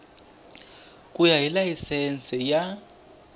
ku ya hi layisense ya